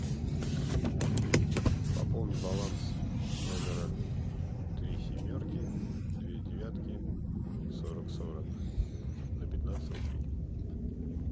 пополни баланс номера три семерки две девятки сорок сорок на пятнадцать рублей